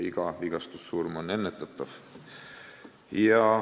Iga vigastussurm on ennetatav.